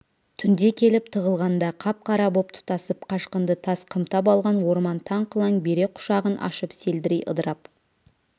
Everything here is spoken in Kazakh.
түнде келіп тығылғанда қап-қара боп тұтасып қашқынды тас қымтап алған орман таң қылаң бере құшағын ашып селдірей ыдырап